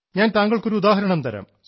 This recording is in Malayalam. ഞാൻ താങ്കൾക്കൊരു ഉദാഹരണം തരാം